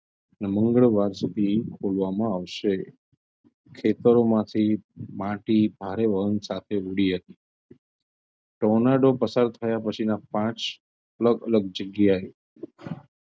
ને મંગળવાર સુધી ખોલવામાં આવશે ખેતરોમાંથી માટી ભારે વાહન સાથે ઉડી હતી tornado પસાર થયાં પછીના પાંચ અલગ -અલગ જગ્યાએ